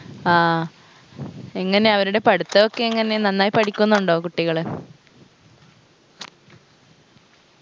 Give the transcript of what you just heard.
ആ എങ്ങനെ അവരുടെ പഠിത്തൊക്കെ എങ്ങനെ നന്നായി പഠിക്കുന്നുണ്ടോ കുട്ടികള്